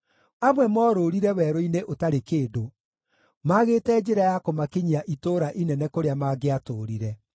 Amwe morũũrire werũ-inĩ ũtarĩ kĩndũ, maagĩte njĩra ya kũmakinyia itũũra inene kũrĩa mangĩatũũrire.